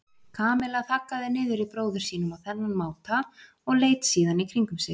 Kamilla þaggaði niður í bróður sínum á þennan máta og leit síðan í kringum sig.